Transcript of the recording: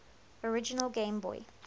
original game boy